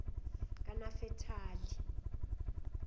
kanafetali